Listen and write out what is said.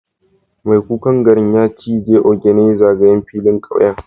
Mai kukan garin ya ciji ogene zagayen filin kauye